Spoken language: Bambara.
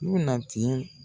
I'u na tiɲɛ